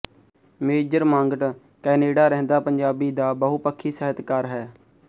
major Mangat Canada ਰਹਿੰਦਾ ਪੰਜਾਬੀ ਦਾ ਬਹੁਪੱਖੀ ਸਾਹਿਤਕਾਰ ਹੈ